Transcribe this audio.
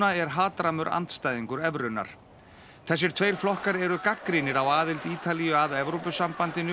er hatrammur andstæðingur evrunnar þessir tveir flokkar eru gagnrýnir á aðild Ítalíu að Evrópusambandinu